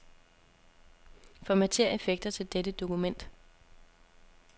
Formatér effekter til dette dokument.